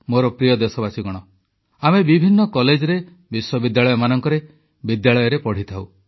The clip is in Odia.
ମୋର ପ୍ରିୟ ଦେଶବାସୀ ଆମେ ବିଭିନ୍ନ କଲେଜରେ ବିଶ୍ୱବିଦ୍ୟାଳୟରେ ବିଦ୍ୟାଳୟରେ ପଢ଼ିଥାଉ